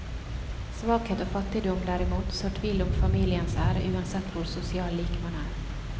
Svakhet og fattigdom, derimot, sår tvil om familiens ære uansett hvor sosial lik man er.